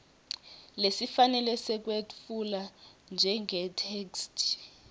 lesifanele sekwetfula njengetheksthi